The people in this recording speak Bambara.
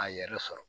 A yɛrɛ sɔrɔ